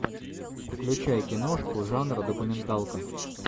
включай киношку жанр документалка